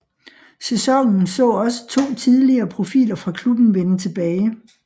Sæsonen så også to tidligere profiler fra klubben vende tilbage